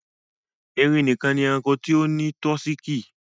Ẹrìn níkan ni ẹ̀ràṇkò tí ó ni tọsíkí.